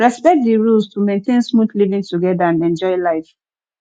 respect the rules to maintain smooth living together and enjoy life